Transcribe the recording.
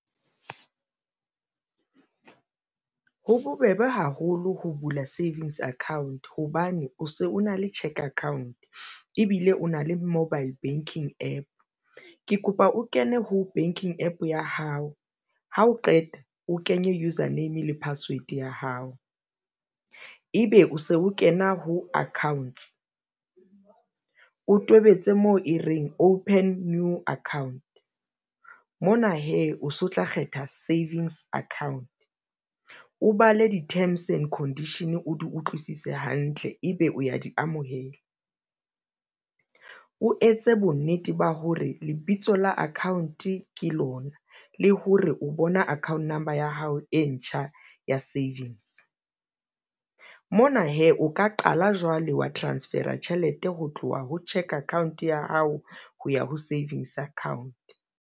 Ho bobebe haholo ho bula savings account hobane o se o na le cheque account ebile o na le mobile banking APP. Ke kopa o kene ho banking APP ya hao ha o qeta o kenye user name le password ya hao. Ebe o se o kena ho accounts, o tobetse moo e reng open new account. Mona hee o se o tla kgetha savings account o bale di terms and condition o di utlwisise hantle ebe o ya di amohela. O etse bonnete ba hore lebitso la account-e ke lona le hore o bona account number ya hao e ntjha ya savings. Mona hee o ka qala jwale wa transfer-a tjhelete ho tloha ho cheque account ya hao ho ya ho savings account.